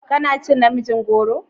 Kana cin namijin goro?